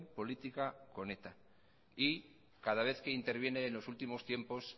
política con eta y cada vez que interviene en los últimos tiempos